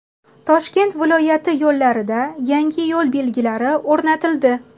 Toshkent viloyati yo‘llarida yangi yo‘l belgilari o‘rnatildi.